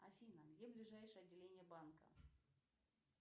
афина где ближайшее отделение банка